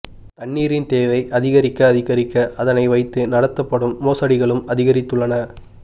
தண்ணீரின் தேவை அதிகரிக்க அதிகரிக்க அதனை வைத்து நடத்தப்படும் மோசடிகளும் அதிகரித்துள்ளன